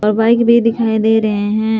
और बाइक भी दिखाई दे रहे हैं।